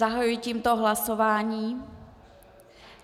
Zahajuji tímto hlasování.